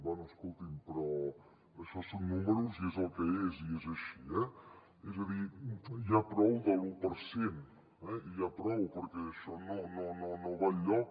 bé escolti’m però això són números i és el que és i és així eh és a dir ja prou de l’u per cent ja prou perquè això no va enlloc